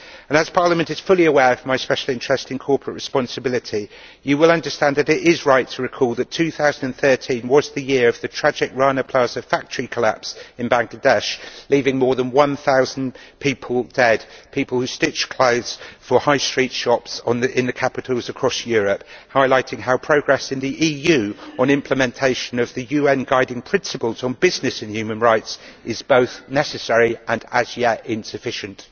As Parliament is fully aware of my special interest in corporate responsibility, you will understand that it is right to recall that 2013 was the year of the tragic Rana Plaza factory collapse in Bangladesh, leaving more than 1000 people dead, people who stitched clothes for high street shops in the capitals across Europe, highlighting how progress in the EU on implementation of the UN guiding principles on business and human rights is both necessary and as yet insufficient.